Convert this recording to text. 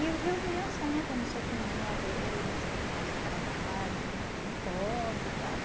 E o eos meninos sentam nos cepinhos de madeira e você faz seu trabalho, mas não pode e tal.